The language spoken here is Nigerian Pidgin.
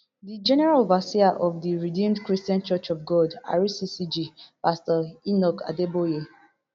di general overseer of di redeemed christian church of god rccg pastor enoch adeboye